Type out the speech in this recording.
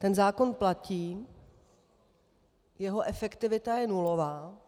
Ten zákon platí, jeho efektivita je nulová.